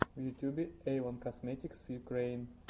в ютубе эйвон косметикс юкрэин